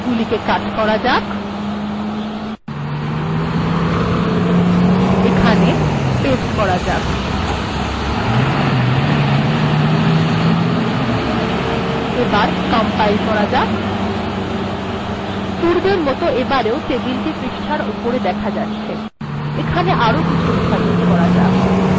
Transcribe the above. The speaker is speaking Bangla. এগুলিকে কাট করা যাক পেস্ট করা যাক কম্পাইল্ করা যাক পূর্বের মত এবারেও টেবিল পৃষ্ঠার উপরের অংশেই দেখা যাচ্ছে এখানে আরো কিছু লেখা যোগ করা যাক